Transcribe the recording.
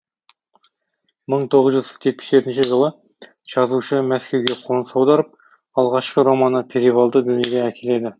мың тоғыз жүз жетпіс жетінші жылы жазушы мәскеуге қоныс аударып алғашқы романы перевалды дүниеге әкеледі